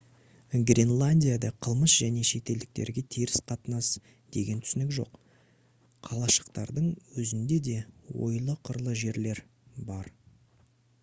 гренландияда қылмыс және шетелдіктерге теріс қатынас деген түсінік жоқ қалашықтардың өзінде де ойлы-қырлы жерлер бар